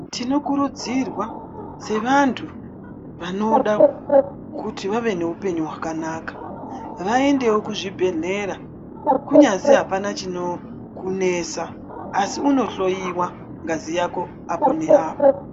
Tinokurudzirwa sevantu vanoda kuti vave nehupenyu hwakanaka vaendewo kuzvibhedhlera kunyazi apana chinokunesa asi unohloiwa ngazi yako apo neapo.